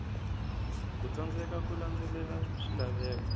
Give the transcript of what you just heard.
ku tsandzeka ku landzelela swilaveko